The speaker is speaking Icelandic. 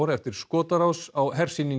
eftir skotárás á